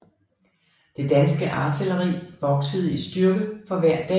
Det danske artilleri voksede i styrke for hver dag